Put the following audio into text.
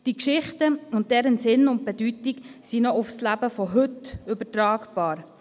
diese Geschichten und deren Sinn und Bedeutung sind noch auf das Leben von heute übertragbar.